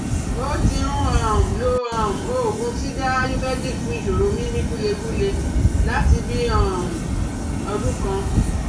Ó ti ń um lo um òògùn Siddha ayurvedic fún ìṣòro mímí gúlengúle láti bí um i ọdún kan